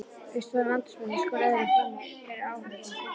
Við stóðum andspænis hvor öðrum frammi fyrir áhorfendunum í stúkunni.